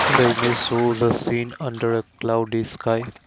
the image shows a seen under a cloudy sky.